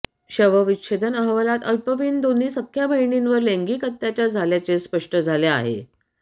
शवविच्छेदन अहवालात अल्पवयीन दोन्ही सख्ख्या बहिणींवर लैंगिक अत्याचार झाल्याचे स्पष्ट झाले आहे